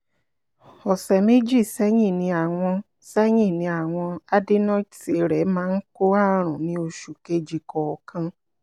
ọ̀sẹ̀ méjì sẹ́yìn ni àwọn sẹ́yìn ni àwọn adenoids rẹ̀ máa ń kó àrùn ní oṣù kejì kọ̀ọ̀kan